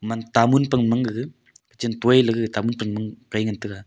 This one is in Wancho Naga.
tamul pang mang gaga chem poi lagaga tamul pan mang Kai ley ngan taega.